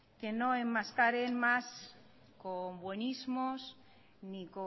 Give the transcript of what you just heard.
que no enmascaren más con buenismos ni